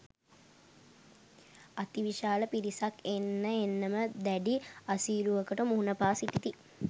අතිවිශාල පිරිසක් එන්න එන්නම දැඩි අසීරුවකට මුහුණ පා සිටිති.